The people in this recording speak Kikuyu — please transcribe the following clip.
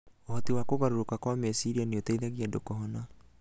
Ũhoti wa kũgarũrũka kwa meciria nĩ ũteithagia andũ kũhona